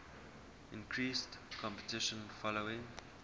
increased competition following